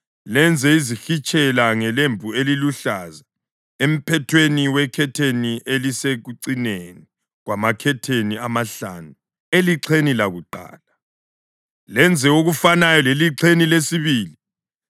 Lenze izihitshela ngelembu eliluhlaza emphethweni wekhetheni elisekucineni kwamakhetheni amahlanu elixheni lakuqala, lenze okufanayo elixheni lesibili.